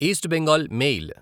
east Bengal mail